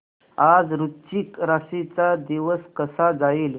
आज वृश्चिक राशी चा दिवस कसा जाईल